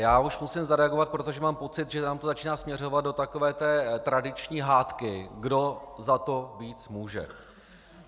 Já už musím zareagovat, protože mám pocit, že nám to začíná směřovat do takové té tradiční hádky, kdo za to víc může.